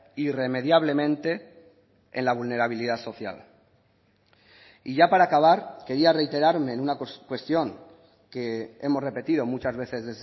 irremediablemente en la vulnerabilidad social y ya para acabar quería reiterarme en una cuestión que hemos repetido muchas veces